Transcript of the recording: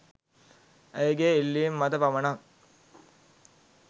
ඇයගේ ඉල්ලිම මත පමණක්